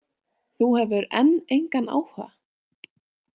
Þú hefur enn engan áhuga?